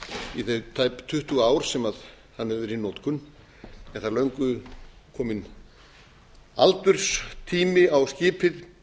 í þau tæp tuttugu ár sem hann hefur verið í notkun en það er löngu kominn aldurstími á skipið